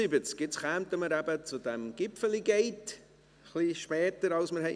Jetzt kommen wir eben zu diesem «Gipfeli Gate», ein bisschen später als wir gedacht haben.